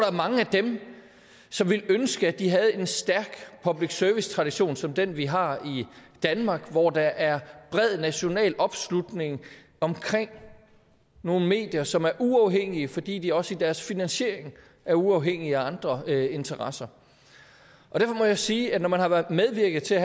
er mange af dem som ville ønske at de havde en stærk public service tradition som den vi har i danmark hvor der er bred national opslutning omkring nogle medier som er uafhængige fordi de også i deres finansiering er uafhængige af andre interesser derfor må jeg sige at når man har medvirket til